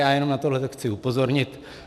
Já jenom na tohle chci upozornit.